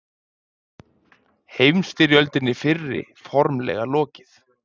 Heimstyrjöldinni fyrri formlega lokið